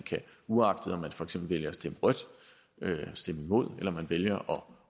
uagtet om man for eksempel vælger at stemme rødt altså stemme imod eller man vælger